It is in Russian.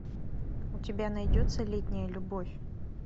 у тебя найдется летняя любовь